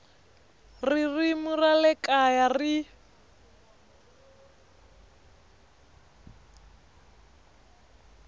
ririmi ra le kaya ri